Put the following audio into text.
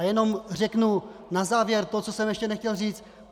A jenom řeknu na závěr to, co jsem ještě nechtěl říct.